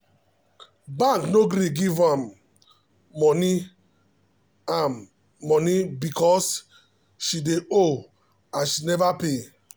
bank no gree give am um moni am um moni because she dey owe and she never um pay.